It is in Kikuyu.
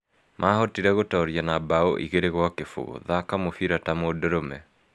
Maahotire gũtooria na bao 2-0, thaka mũbira ta mũndũrũme.